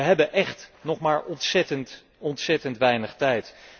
We hebben echt nog maar ontzettend, ontzettend weinig tijd.